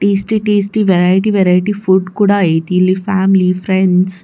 tasty tasty variety variety food ಕೂಡ ಆಯ್ತಿ ಇಲ್ಲಿ ಫ್ಯಾಮಿಲಿ ಫ್ರೆಂಡ್ಸ್ --